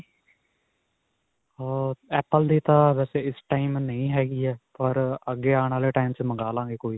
ਅਅ Apple ਦੀ ਤਾਂ ਵੈਸੇ ਇਸ time ਨਹੀ ਹੈਗੀ ਹੈ ਪਰ ਅੱਗੇ ਆਉਣ ਵਾਲੇ time ਵਿੱਚ ਮੰਗਵਾ ਲਵਾਂਗੇ ਕੋਈ.